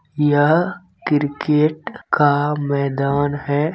यह क्रिकेट का मैदान है।